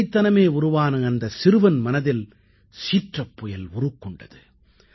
குழந்தைத்தனமே உருவான அந்தச் சிறுவன் மனதில் சீற்றப்புயல் உருக்கொண்டது